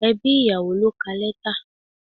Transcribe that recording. Ẹbí ìyàwó ló ka letter.